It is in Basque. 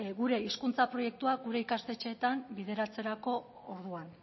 gure hizkuntza proiektuak gure ikastetxeetan bideratzerako orduan